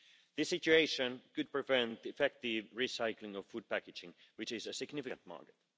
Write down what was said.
This situation could prevent effective recycling of food packaging, which is a significant market.